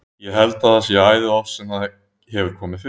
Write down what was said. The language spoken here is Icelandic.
Ég held að það sé æði oft sem það hefur komið fyrir.